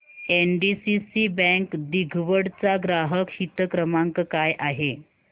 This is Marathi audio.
एनडीसीसी बँक दिघवड चा ग्राहक हित क्रमांक काय आहे